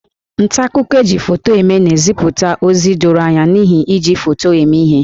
Nta akụkọ e ji foto eme na-ezipụ ozi doro anya n'ihi iji foto eme ihe